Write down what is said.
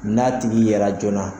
N'a tigi yera joona.